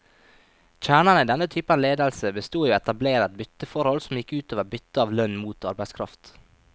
Kjernen i denne typen ledelse bestod i å etablere et bytteforhold, som gikk ut over byttet av lønn mot arbeidskraft.